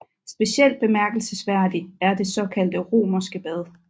Specielt bemærkelsesværdig er det såkaldte romerske bad